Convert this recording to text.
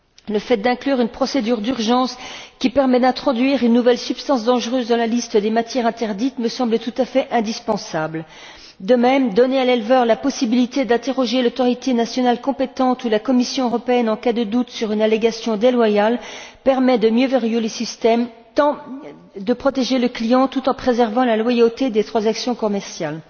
Le fait d'inclure une procédure d'urgence qui permet d'introduire une nouvelle substance dangereuse dans la liste des matières interdites me semble tout à fait indispensable. De même, donner à l'éleveur la possibilité d'interroger l'autorité nationale compétente ou la Commission européenne en cas de doute sur une allégation déloyale, permet de mieux verrouiller le système et de protéger le client, tout en préservant la loyauté des transactions commerciales.